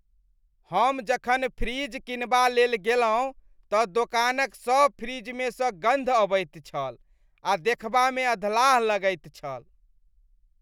हम जखन फ्रिज कीनबा लेल गेलहुँ तऽ दोकानक सभ फ्रिजमे सँ गन्ध अबैत छल आ देखबामे अधलाह लगैत छल।